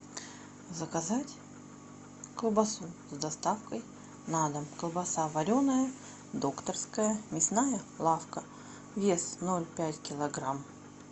заказать колбасу с доставкой на дом колбаса вареная докторская мясная лавка вес ноль пять килограмм